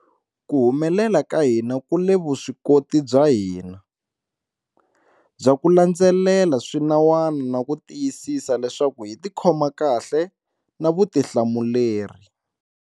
Ku humelela ka hina ku le ka vuswikoti bya hina bya ku landzelela swinawana na ku tiyisisa leswaku hi tikhoma kahle na vutihlamuleri.